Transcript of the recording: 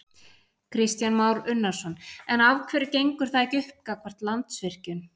Kristján Már Unnarsson: En af hverju gengur það ekki upp gagnvart Landsvirkjun?